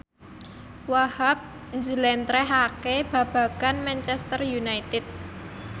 Wahhab njlentrehake babagan Manchester united